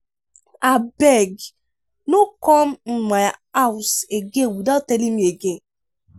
abeg no come um my house again without telling me again.